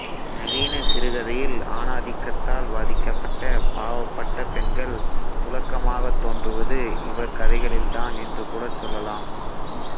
நவீன சிறுகதையில் ஆணாதிக்கத்தால் பாதிக்கப்பட்ட பாவப்பட்ட பெண்கள் துலக்கமாகத் தோன்றுவது இவர் கதைகளில்தான் என்று கூடச் சொல்லலாம்